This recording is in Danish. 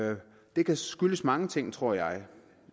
det kan skyldes mange ting tror jeg